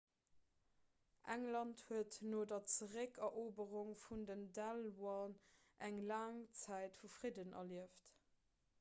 england huet no der zeréckeroberung vun den danelaw eng laang zäit vum fridden erlieft